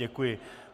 Děkuji.